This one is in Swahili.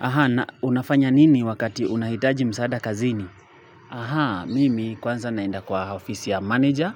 Na unafanya nini wakati unahitaji msaada kazini? Mimi kwanza naenda kwa ofisi ya manager